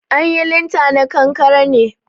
An yi linta na kankare ne